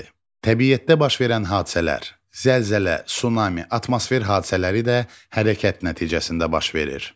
Təbiətdə baş verən hadisələr, zəlzələ, tsunami, atmosfer hadisələri də hərəkət nəticəsində baş verir.